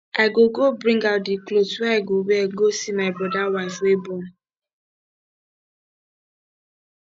i go go bring out the cloth wey i go wear go see my broda wife wey born